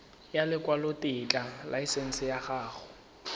ya lekwalotetla laesense ya go